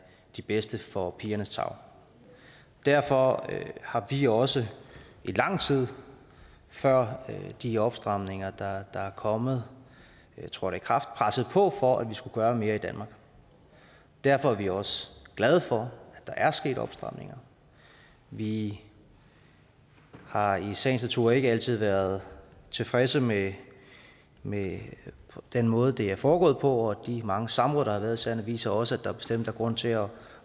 de bedste for pigernes tarv derfor har vi også i lang tid før de opstramninger der er kommet trådte i kraft presset på for at vi skulle gøre mere i danmark og derfor er vi også glade for at der er sket opstramninger vi har i sagens natur ikke altid været tilfredse med med den måde det er foregået på og de mange samråd der har været i sagerne viser også at der bestemt er grund til at